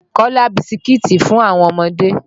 Kọ́lá bisikiti fún àwọn ọmọdé.